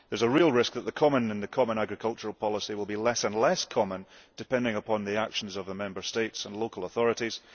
There is a real risk that the commonʼ in the common agricultural policy will be less and less common depending upon the actions of the Member States and local authorities.